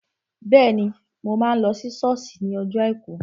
Bẹ́ẹ̀ni, mo máa lọ sí sọ́ọ̀sì ní ọjọ́ àìkú